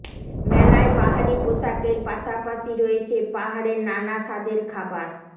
মেলায় বাহারি পোশাকের পাশাপাশি রয়েছে পাহাড়ের নানা স্বাদের খাবার